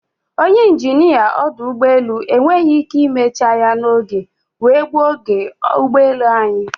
Ọnye injinia ọdụ ụgbọelụ enweghị ike imecha ya n'oge wee gbuo oge ụgbọelu anyị.